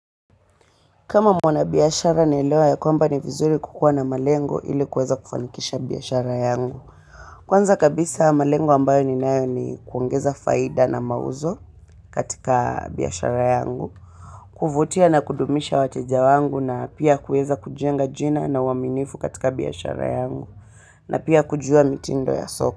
Kama mwana biashara naelewa ya kwamba ni vizuri kukuwa na malengo ili kuweza kufanikisha biashara yangu. Kwanza kabisa malengo ambayo ninayo ni kuongeza faida na mauzo katika biashara yangu. Kuvutia na kudumisha wateja wangu na pia kueza kujenga jina na uwaminifu katika biashara yangu. Na pia kujua mitindo ya soko.